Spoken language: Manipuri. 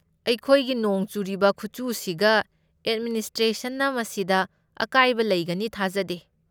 ꯑꯩꯈꯣꯏꯒꯤ ꯅꯣꯡ ꯆꯨꯔꯤꯕ ꯈꯨꯆꯨꯁꯤꯒ ꯑꯦꯗꯃꯤꯅꯤꯁꯇ꯭ꯔꯦꯁꯟꯅ ꯃꯁꯤꯗ ꯑꯀꯥꯏꯕ ꯂꯩꯒꯅꯤ ꯊꯥꯖꯗꯦ꯫